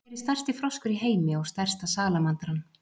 Hver er stærsti froskur í heimi og stærsta salamandran?